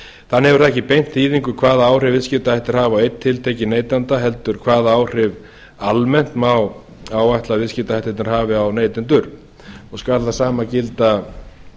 þannig hefur það ekki beint þýðingu hvaða áhrif viðskiptahættir hafa á einn tiltekinn neytanda heldur hvaða áhrif almennt má áætla að viðskiptahættirnir hafi á neytendur og skal það sama gilda